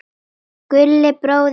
Gulli bróðir er dáinn.